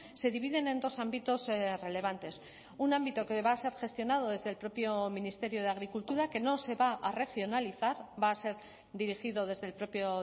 se dividen en dos ámbitos relevantes un ámbito que va a ser gestionado desde el propio ministerio de agricultura que no se va a regionalizar va a ser dirigido desde el propio